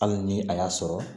Hali ni a y'a sɔrɔ